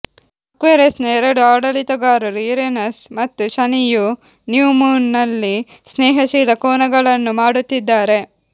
ಅಕ್ವೇರಿಯಸ್ನ ಎರಡು ಆಡಳಿತಗಾರರು ಯುರೇನಸ್ ಮತ್ತು ಶನಿಯು ನ್ಯೂ ಮೂನ್ ನಲ್ಲಿ ಸ್ನೇಹಶೀಲ ಕೋನಗಳನ್ನು ಮಾಡುತ್ತಿದ್ದಾರೆ